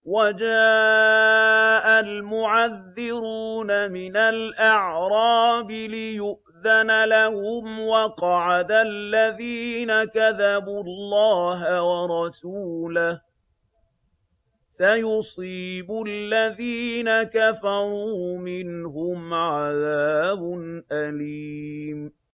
وَجَاءَ الْمُعَذِّرُونَ مِنَ الْأَعْرَابِ لِيُؤْذَنَ لَهُمْ وَقَعَدَ الَّذِينَ كَذَبُوا اللَّهَ وَرَسُولَهُ ۚ سَيُصِيبُ الَّذِينَ كَفَرُوا مِنْهُمْ عَذَابٌ أَلِيمٌ